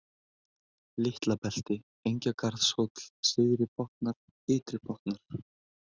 Litlabelti, Engjagarðshóll, Syðri-Botnar, Ytri-Botnar